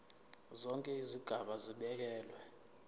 zonke izigaba zibekelwe